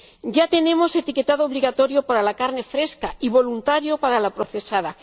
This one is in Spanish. Ya tenemos etiquetado obligatorio para la carne fresca, y voluntario para la procesada.